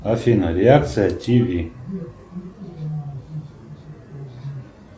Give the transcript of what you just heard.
афина реакция тв